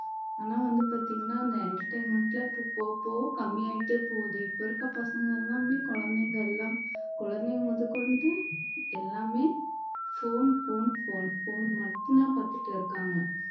ஆனா வந்து பாத்தீங்கன்னா அந்த entertainment ல இப்ப போகப் போக கம்மியாயிட்டே போகுது இப்ப இருக்கிற பசங்க எல்லாமே குழந்தைங்க எல்லாம் குழந்தைங்க முதற்கொண்டு எல்லாமே phone phone phone phone மட்டும்தான் பாத்துட்டு இருக்காங்க